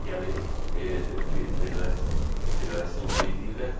Sonra gəlir RFF1, Federation bir deyirlər.